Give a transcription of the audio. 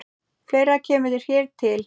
Fleira kemur hér til.